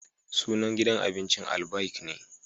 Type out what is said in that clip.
Sunan gidan abincin Albaik ne